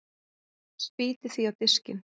Spýti því á diskinn.